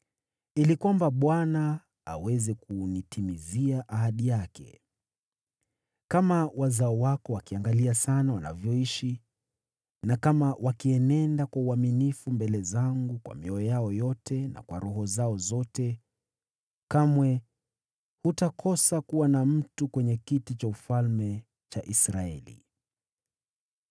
ili kwamba Bwana aweze kunitimizia ahadi yake: ‘Kama wazao wako wakiangalia sana wanavyoishi, na kama wakienenda kwa uaminifu mbele zangu kwa mioyo yao yote na kwa roho zao zote, kamwe hutakosa kuwa na mtu kwenye kiti cha ufalme cha Israeli.’